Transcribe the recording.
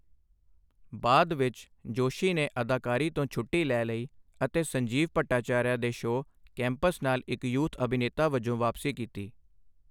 ਬਾਅਦ ਵਿੱਚ, ਜੋਸ਼ੀ ਨੇ ਅਦਾਕਾਰੀ ਤੋਂ ਛੁੱਟੀ ਲੈ ਲਈ ਅਤੇ ਸੰਜੀਵ ਭੱਟਾਚਾਰੀਆ ਦੇ ਸ਼ੋਅ ਕੈਂਪਸ ਨਾਲ ਇੱਕ ਯੂਥ ਅਭਿਨੇਤਾ ਵਜੋਂ ਵਾਪਸੀ ਕੀਤੀ।